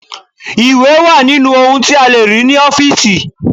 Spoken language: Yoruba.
Ìwé wà nínú ohun tí a lè rí ní ọ́fíìsì.